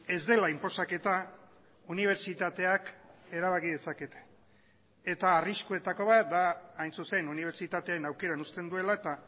ez dela inposaketa unibertsitateak erabaki dezakete eta arriskuetako bat da hain zuzen unibertsitateen aukeran uzten duela eta